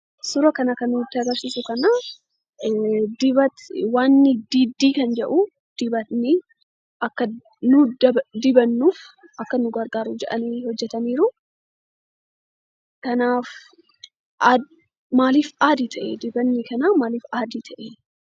Suura kana kan nutti agarsiisu kan waan Diddii jedhuu, Dibatni akka nutii dibannuu akka nu gargaaruuf jedhanii hojjetaniiru. Kanaaf Dibatni Kun maaliif add ta'ee?